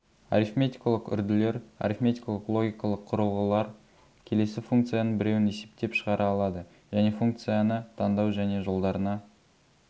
арифметикалық үрділер арифметикалық логикалық құрылғылар келесі функцияның біреуін есептеп шығара алады және функцияны таңдау және жолдарына